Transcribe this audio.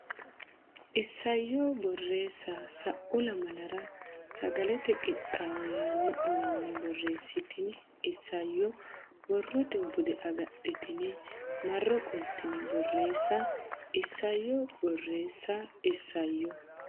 Isayyo Borreessa Sa u lamalara Sagalete Qixxaawo yaanno uminni borreessitini isayyo borrote bude agadhitine marro qoltine borreesse Isayyo Borreessa Isayyo.